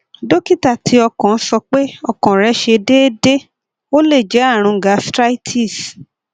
dókítà ti okan sọ pé ọkàn re se deede ó lè jẹ àrùn gastritis